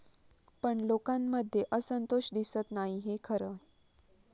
पण लोकांमध्ये असंतोष दिसत नाही हे खरंय.